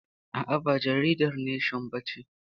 A'a, ba jaridar neshon ba ce.